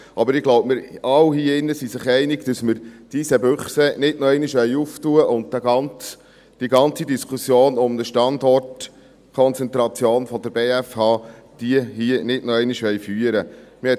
Aber ich glaube, wir alle hier drin sind uns einig, dass wir die Eisenbüchse nicht noch einmal öffnen wollen und die ganze Diskussion um die Standortkonzentration der BFH hier nicht noch einmal führen wollen.